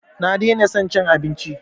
Na daina son cin abinci